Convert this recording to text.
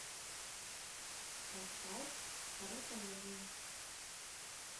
поставь король комедии